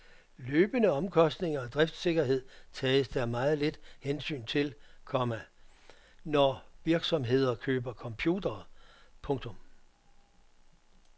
Løbende omkostninger og driftssikkerhed tages der meget lidt hensyn til, komma når virksomheder køber computere. punktum